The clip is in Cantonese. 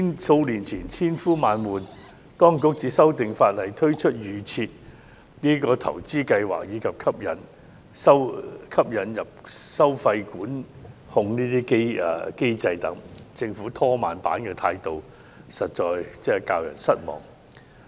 數年前，當局千呼萬喚才修訂法例，推出預設投資策略及引入收費管控等機制，但政府"拖慢板"的態度實在教人失望。